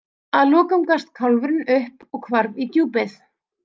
Að lokum gafst kálfurinn upp og hvarf í djúpið.